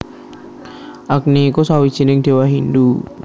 Agni iku sawijining Déwa Hindu